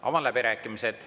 Avan läbirääkimised.